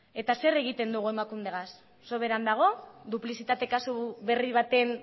eta zer egiten dugu emakundegaz soberan dago duplizitate kasu berri baten